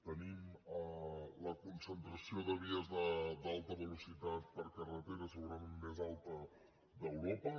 tenim la concentració de vies d’alta velocitat per carretera segurament més alta d’europa